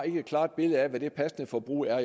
ikke et klart billede af hvad det passende forbrug er